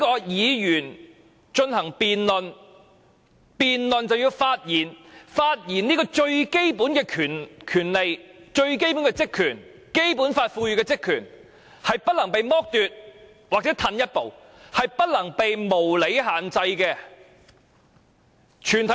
議員進行辯論便要發言，發言這種由《基本法》賦予的最基本權利、職權是不能被剝奪或退後一步，是不能被無理限制的。